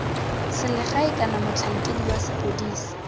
selegae kana motlhankedi wa sepodisi